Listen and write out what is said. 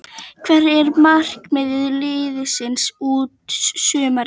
Hvert er markmið liðsins út sumarið?